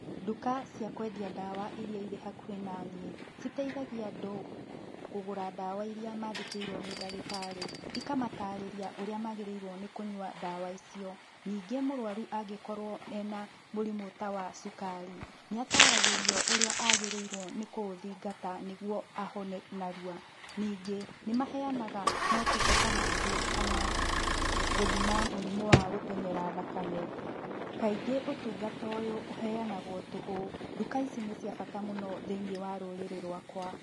Nduka cia kũendia ndawa irĩa irĩ hakuhi naniĩ, citethagia andũ kũgũra ndawa irĩa mandĩkĩirwo nĩ ndagĩtarĩ, ikamatarĩria ũrĩa magĩrĩirwo kũnyua ndawa icio. Ningĩ mũrũaru angĩkorwo ena mũrimũ ta wa cukari nĩataragĩrio ũrĩa agĩrĩirwo nĩ kũũthingata nĩguo ahone narua. Ningĩ nĩ maheyanaga motungata mangĩ ta ma gũthima mũrimũ wa gũtenyera thakame. Kaingĩ ũtungata ũyũ uheyanagwo tũhũ. Nduka ici nĩ cia bata mũno thĩiniĩ wa rũrĩrĩ rwakwa.